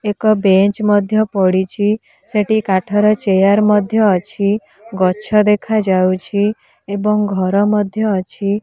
ଏକ ବେଞ୍ଚ ମଧ୍ୟ ପଡ଼ିଛି ସେଠି କାଠ ର ଚେୟାର ମଧ୍ୟ ଅଛି ଗଛ ଦେଖା ଯାଉଛି ଏବଂ ଘର ମଧ୍ୟ ଅଛି।